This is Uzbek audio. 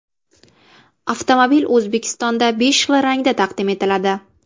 Avtomobil O‘zbekistonda besh xil rangda taqdim etiladi.